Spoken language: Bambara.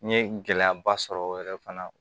N ye gɛlɛyaba sɔrɔ o yɛrɛ fana na